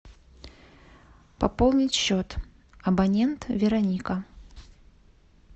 пополнить счет абонент вероника